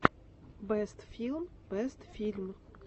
бэст филм бэст фильм